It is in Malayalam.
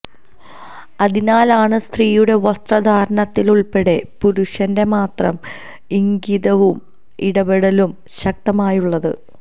അതിനാലാണ് സ്ത്രീയുടെ വസ്ത്രധാരണത്തിലുള്പ്പെടെ പുരുഷന്റെ മാത്രം ഇംഗിതവും ഇടപെടലും ശക്തമായുള്ളത്